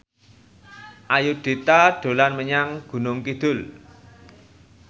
Ayudhita dolan menyang Gunung Kidul